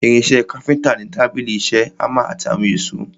Irin ìṣe káfíntà ni tábìlì ìṣe, hámà àti àwọn èsó.